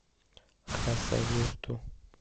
хасавюрту